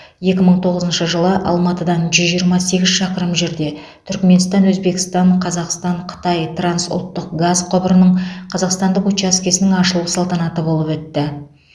екі мың тоғызыншы жылы алматыдан жүз жиырма сегіз шақырым жерде түрікменстан өзбекстан қазақстан қытай трансұлттық газ құбырының қазақстандық учаскесінің ашылу салтанаты болып өтті